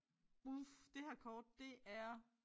Uf det her kort det er